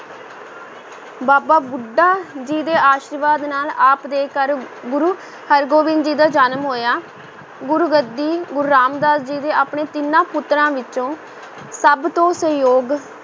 ਬਾਬਾ ਬੁੱਢਾ ਜੀ ਦੇ ਆਸ਼ੀਰਵਾਦ ਨਾਲ ਆਪ ਦੇ ਘਰ ਗੁਰੂ ਹਰਗੋਬਿੰਦ ਜੀ ਦਾ ਜਨਮ ਹੋਇਆ, ਗੁਰ ਗੱਦੀ ਗੁਰੂ ਰਾਮ ਦਾਸ ਜੀ ਨੇ ਆਪਣੇ ਤਿੰਨਾਂ ਪੁੱਤਰਾਂ ਵਿੱਚੋਂ ਸਭ ਤੋਂ ਸੁਯੋਗ